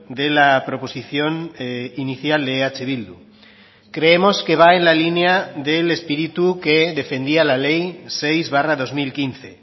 de la proposición inicial de eh bildu creemos que va en la línea del espíritu que defendía la ley seis barra dos mil quince